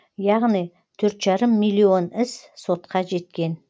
яғни төрт жарым миллион іс сотқа жеткен